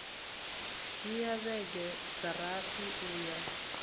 dzhia vhege dza rathi uya